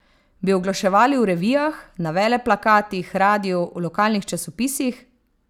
Bi oglaševali v revijah, na veleplakatih, radiu, v lokalnih časopisih?